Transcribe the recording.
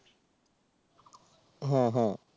হ্যাঁ হ্যাঁ